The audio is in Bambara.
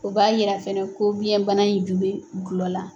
O b'a yira fɛnɛ ko biyɛnbana in ju bɛ gulɔ la.